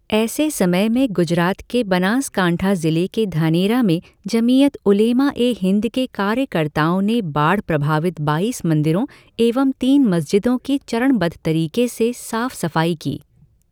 ऐसे समय में गुजरात के बनासकांठा ज़िले के धानेरा में जमीयत उलेमा ए हिन्द के कार्यकर्ताओं ने बाढ़ प्रभावित बाईस मंदिरों एवं तीन मस्जिदों की चरणबद्ध तरीक़े से साफ़ सफ़ाई की।